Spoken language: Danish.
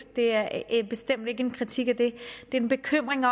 det er bestemt ikke en kritik af det det er en bekymring